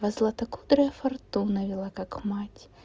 а златокудрая фортуна вела как мать